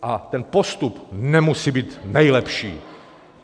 A ten postup nemusí být nejlepší.